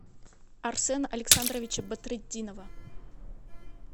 арсена александровича бадретдинова